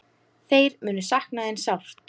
Þeir munu sakna þín sárt.